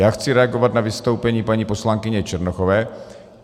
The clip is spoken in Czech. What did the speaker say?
Já chci reagovat na vystoupení paní poslankyně Černochové.